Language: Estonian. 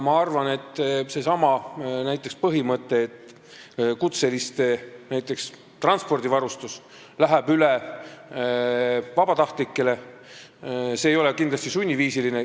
Näiteks seesama põhimõte, et kutseliste transpordivarustus läheb üle vabatahtlikele, aga see ei ole kindlasti sunniviisiline.